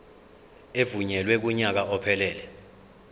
evunyelwe kunyaka ophelele